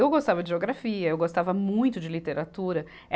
Eu gostava de geografia, eu gostava muito de literatura.